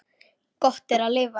Gott er að lifa.